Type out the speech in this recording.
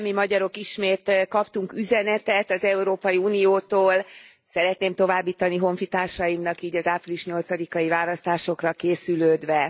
Mi magyarok ismét kaptunk üzenetet az Európai Uniótól. Szeretném továbbítani honfitársaimnak így az április 8 i választásokra készülődve.